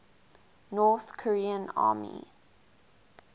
north korean army